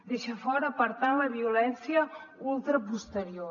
deixa fora per tant la violència ultra posterior